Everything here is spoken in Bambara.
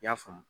I y'a faamu